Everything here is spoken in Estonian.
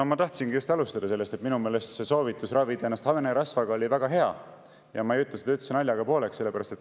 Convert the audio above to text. No ma tahtsingi just alustada sellest, et minu meelest soovitus ravida ennast hanerasvaga oli väga hea, ja ma ei ütle seda üldse naljaga pooleks.